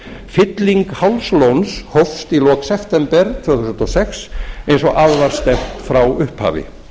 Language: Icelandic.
fylling hálslóns hófst í lok september tvö þúsund og sex eins og að var stefnt frá upphafi